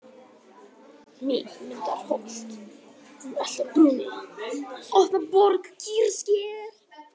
Miðmundarholt, Beltabruni, Opnaborg, Kýrsker